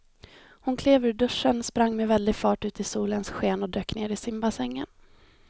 Hon klev ur duschen, sprang med väldig fart ut i solens sken och dök ner i simbassängen.